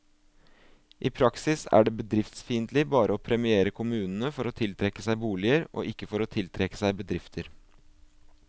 I praksis er det bedriftsfiendtlig bare å premiere kommunene for å tiltrekke seg boliger, og ikke for å tiltrekke seg bedrifter.